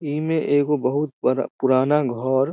इमे एगो बहुत बड़ा पु-पुराना घर --